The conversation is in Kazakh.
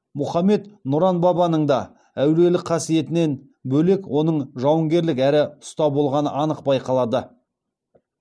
мұхаммед нұран бабаның да әулиелік қасиетінен бөлек оның жауынгерлік әрі ұста болғаны анық байқалады